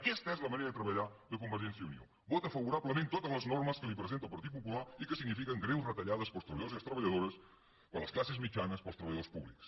aquesta és la manera de treballar de convergència i unió vota favorablement totes les normes que li presenta el partit popular i que signifiquen greus retallades per als treballadors i treballadores per a les classes mitjanes per als treballadors públics